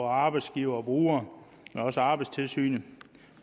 arbejdsgivere og brugere og også arbejdstilsynet